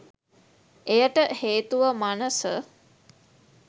එයට හේතුව මනස